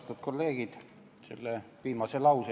Austatud kolleegid!